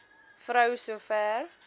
vrou so ver